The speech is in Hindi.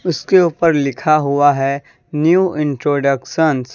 उसके ऊपर लिखा हुआ है न्यू इंट्रोडक्शंस ।